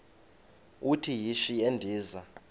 uthi yishi endiza